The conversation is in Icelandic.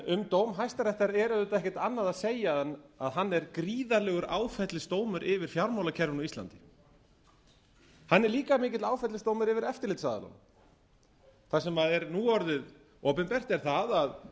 um dóm hæstaréttar er auðvitað ekkert annað að segja en að hann er gríðarlegur áfellisdómur yfir fjármálakerfinu á íslandi hann er líka mikill áfellisdómur yfir eftirlitsaðilana þar sem er nú orðið opinbert er það að fjármálakerfið